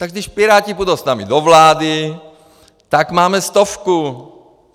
Tak když Piráti půjdou s námi do vlády, tak máme stovku.